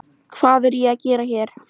Hvað er ég að gera hér?